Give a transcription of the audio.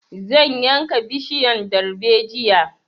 Zan yanka bishiyan darbejiya